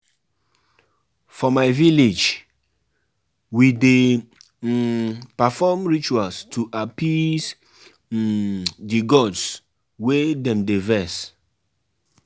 Wetin dey sweet me pass be say my mama go allow me go learn basket ball for dis holiday